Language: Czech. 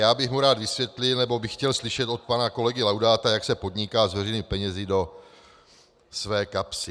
Já bych mu rád vysvětlil, nebo bych chtěl slyšet od pana kolegy Laudáta, jak se podniká s veřejnými penězi do své kapsy.